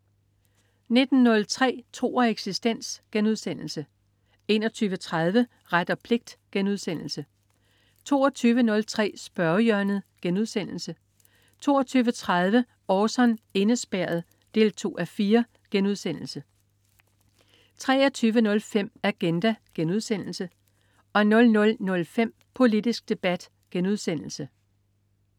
19.03 Tro og eksistens* 21.30 Ret og pligt* 22.03 Spørgehjørnet* 22.30 Orson: Indespærret 2:4* 23.05 Agenda* 00.05 Politisk debat*